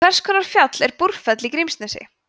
hvers konar fjall er búrfell í grímsnesi